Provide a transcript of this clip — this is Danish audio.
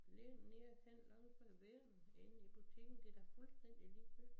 Læg den ned hen langs hvor du vil inde i butikken det da fuldstændig ligegyldigt